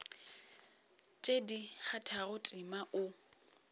tše di kgathago tema o